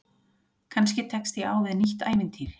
Kannski tekst ég á við nýtt ævintýri.